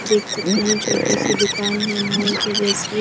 देख सकते हैं छोटी सी दुकान है मॉल के जैसी --